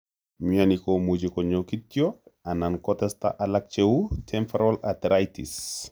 Myoni komuche konyo kityok anan kotesta alak cheu temporal arteritis